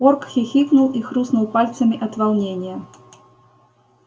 порк хихикнул и хрустнул пальцами от волнения